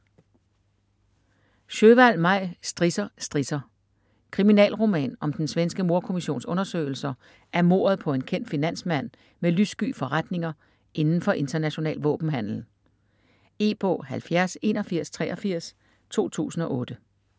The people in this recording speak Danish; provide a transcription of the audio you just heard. Sjöwall, Maj: Strisser, strisser - Kriminalroman om den svenske mordkommissions undersøgelser af mordet på en kendt finansmand med lyssky forretninger inden for international våbenhandel. E-bog 708183 2008.